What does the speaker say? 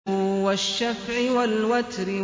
وَالشَّفْعِ وَالْوَتْرِ